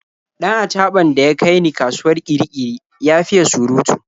Dan achaɓan da ya kai ni kasuwar Kirikiri ya fiye surutu.